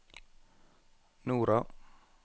Nora